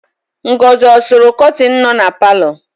Ngọzị ọ sụrụ kọtịnụ nọ na palọ?